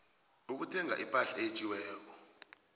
ukuthenga ipahla eyetjiweko